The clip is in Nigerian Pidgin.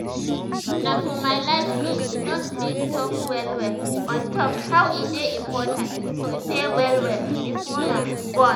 na for my last year d nurse bin talk well well on top how e dey important to prepare well well before you um born